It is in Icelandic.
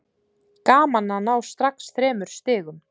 Gaman að ná strax þremur stigum.